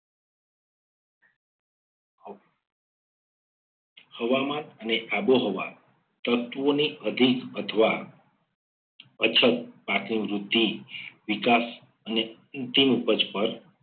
હવામાન અને આબોહવા તત્વોની અધિક અથવા અછત પાકની વૃદ્ધિ વિકાસ અને અંતિમ ઉપજ પર